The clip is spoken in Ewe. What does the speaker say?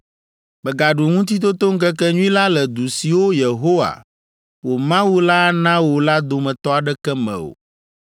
“Mègaɖu Ŋutitotoŋkekenyui la le du siwo Yehowa, wò Mawu la ana wò la dometɔ aɖeke me o,